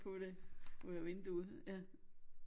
Kunne det ud af vinduet ja